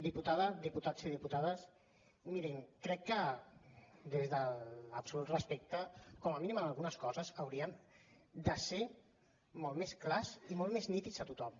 diputada diputats i diputades mirin crec que des de l’absolut respecte com a mínim en algunes coses hauríem de ser molt més clars i molt més nítids a tothom